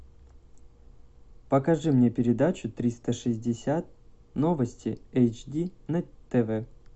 покажи мне передачу триста шестьдесят новости эйч ди на тв